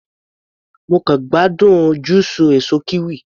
Mo kàn gbádùn júùsù èsó kiwi.